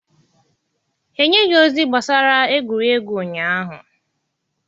Ha enyeghị ozi gbasara egwuregwu ụnyaahụ.